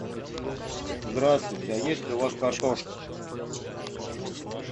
здравствуйте а есть ли у вас картошка